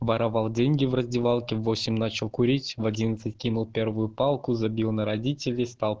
воровал деньги в раздевалке в восемь начал курить в одинадцать кинул первую палку забил на родителей стал